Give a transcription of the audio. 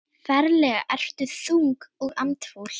Ferlega ertu þung og andfúl.